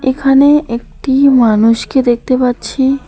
এখানে একটি মানুষকে দেখতে পাচ্ছি।